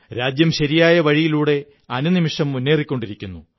രാജ്യം ശരിയായ വഴിയിലൂടെ അനുനിമിഷം മുന്നേറിക്കൊണ്ടിരിക്കുന്നു